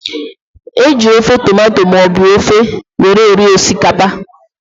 E ji ofe tomato maọbụ ofe were eri osikapa